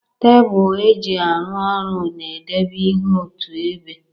Tebul e ji arụ orụ na-edebe ihe otu ebe.